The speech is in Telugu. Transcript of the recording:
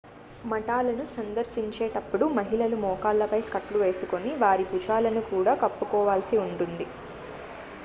మఠాలను సందర్శించేటప్పుడు మహిళలు మోకాళ్లపై స్కర్ట్ లు వేసుకొని వారి భుజాలను కూడా కప్పుకోవాల్సి ఉంటుంది